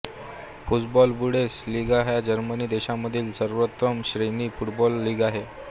Fussball-Bundesliga ही Germany देशामधील सर्वोत्तम श्रेणीची फुटबॉल लीग आहे